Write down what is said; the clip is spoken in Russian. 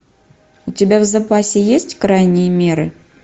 у тебя в запасе есть крайние меры